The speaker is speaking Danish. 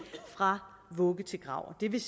fra vugge til grav det vil